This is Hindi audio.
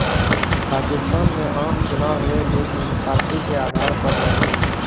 पाकिस्तान में आम चुनाव हुए लेकिन पार्टी के आधार पर नहीं